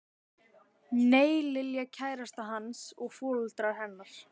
Nei, Lilja kærastan hans og foreldrar hennar.